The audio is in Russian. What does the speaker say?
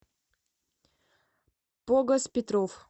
богос петров